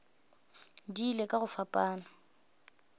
di ile ka go fapana